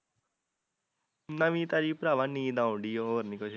ਨਵੀਂ ਤਾਜ਼ੀ ਪਰਾਵਾਂ ਨੀਂਦ ਆਉਣ ਡਈ ਹੋਰ ਨਹੀਂਓ ਕੁਝ